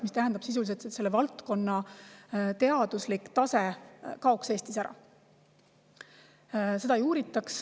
See tähendab sisuliselt, et selle valdkonna teaduslik tase kaoks Eestis ära, seda ei uuritaks.